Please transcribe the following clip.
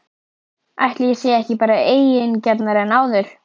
Ætli ég sé ekki bara eigingjarnari en áður?!